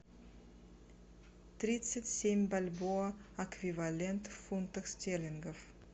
тридцать семь бальбоа эквивалент в фунтах стерлингов